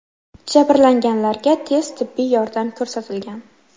Jabrlanganlarga tez tibbiy yordam ko‘rsatilgan.